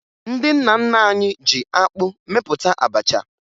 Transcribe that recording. Ndị nna nna anyị ji akpụ mepụta abacha